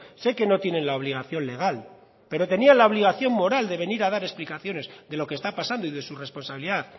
sé que no tienen la obligación legal pero tenían la obligación moral de venir a dar explicaciones de lo que está pasando y de su responsabilidad